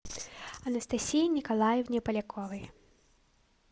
анастасии николаевне поляковой